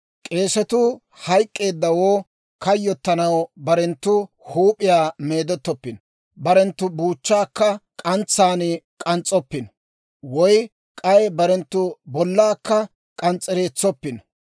« ‹K'eesetuu hayk'k'eeddawoo kayyottanaw barenttu huup'iyaa meedettoppino; barenttu buuchchaakka k'antsaan k'ans's'oppino; woy k'ay barenttu bollaakka k'ans's'ereetsoppino.